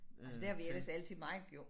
Øh til